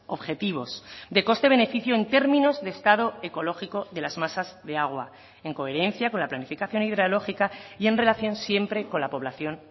objetivos de coste beneficio en términos de estado ecológico de las masas de agua en coherencia con la planificación hidrológica y en relación siempre con la poblacion